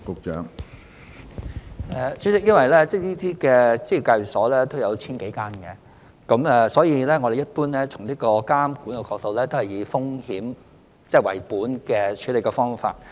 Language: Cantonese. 主席，由於這類職業介紹所有千多間，所以從監管的角度，我們一般都是採用風險為本的處理方法。